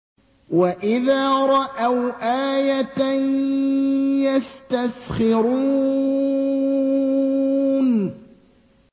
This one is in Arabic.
وَإِذَا رَأَوْا آيَةً يَسْتَسْخِرُونَ